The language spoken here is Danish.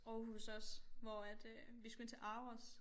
Aarhus også hvor at øh vi skulle ind til ARoS